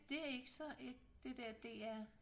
Det er ikke så et det dér DR